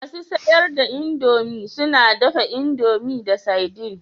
Masu siyar da indomie suna dafa indomie da sardine